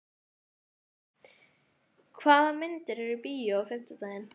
Hafey, hvaða myndir eru í bíó á fimmtudaginn?